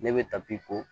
Ne bɛ tapi ko